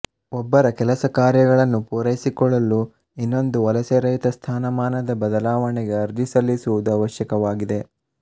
ಒಬ್ಬರ ಕೆಲಸಕಾರ್ಯಗಳನ್ನು ಪೂರೈಸಿಕೊಳ್ಳಲು ಇನ್ನೊಂದು ವಲಸೆರಹಿತ ಸ್ಥಾನಮಾನದ ಬದಲಾವಣೆಗೆ ಅರ್ಜಿ ಸಲ್ಲಿಸುವುದು ಅವಶ್ಯಕವಾಗಿದೆ